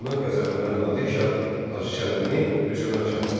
Bundan qəzəblənən Nadir şah Hacı Çələbini hüzuruna çağırdı.